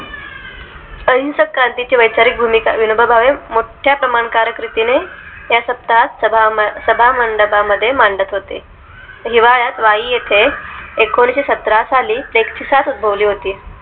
अहिंसक क्रांतीची वैचारिक भूमिका विनोबा भावे मोठ्या प्रमाणकारक रीतीने या सप्ताहात सभामंडपा मध्ये मांडत होते हिवाळ्यात वाई येते एकोणीशेसत्रा साली flex ची सात उद्भवली होती